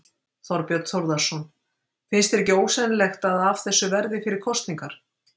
Þorbjörn Þórðarson: Finnst þér ekki ósennilegt að af þessu verði fyrir kosningar?